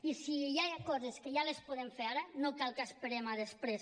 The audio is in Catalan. i si ja hi ha coses que les podem fer ara no cal que esperem a després